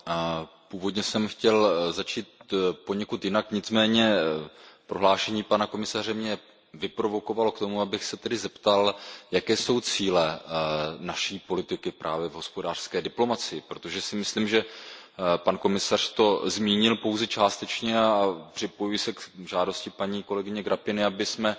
Paní předsedající, původně jsem chtěl začít poněkud jinak, nicméně prohlášení pana komisaře mě vyprovokovalo k tomu, abych se tedy zeptal, jaké jsou cíle naší politiky právě v hospodářské diplomacii, protože si myslím, že pan komisař to zmínil pouze částečně, a připojuji se k žádosti paní kolegyně Grapini, abychom